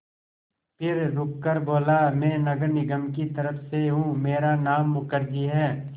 फिर रुककर बोला मैं नगर निगम की तरफ़ से हूँ मेरा नाम मुखर्जी है